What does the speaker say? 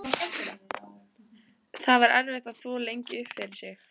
Það var erfitt að þvo lengi upp fyrir sig.